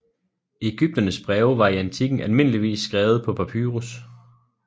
Egypternes breve var i antikken almindeligvis skrevet på papyrus